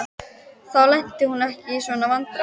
Þá lenti hún ekki í svona vandræðum.